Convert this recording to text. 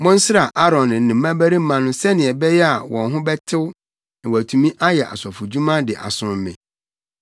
“Monsra Aaron ne ne mmabarima no sɛnea ɛbɛyɛ a wɔn ho bɛtew na wɔatumi ayɛ asɔfodwuma de asom me.